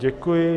Děkuji.